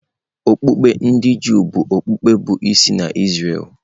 Okpukpe ndị Juu bụ okpukpe bụ́ isi n’Izrel.